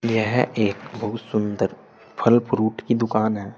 यह एक बहुत सुंदर फल फ्रूट की दुकान है।